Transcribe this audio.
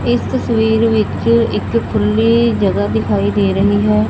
ਇਸ ਤਸਵੀਰ ਵਿੱਚ ਇੱਕ ਖੁੱਲੀ ਜਗ੍ਹਾ ਦਿਖਾਈ ਦੇ ਰਹੀ ਹੈ।